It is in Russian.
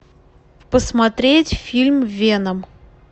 посмотреть фильм веном